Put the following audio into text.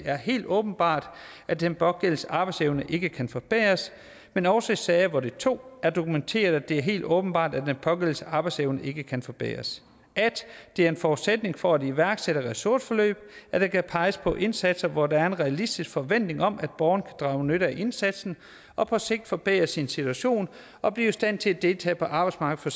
er helt åbenbart at den pågældendes arbejdsevne ikke kan forbedres men også i sager hvor det 2 er dokumenteret at det er helt åbenbart at den pågældendes arbejdsevne ikke kan forbedres • at det er en forudsætning for at iværksætte ressourceforløb at der kan peges på indsatser hvor der er en realistisk forventning om at borgeren kan drage nytte af indsatsen og på sigt forbedre sin situation og blive i stand til at deltage på arbejdsmarkedet for